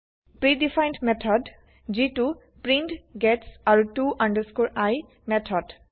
pre defined method - যিটো print gets আৰু to i method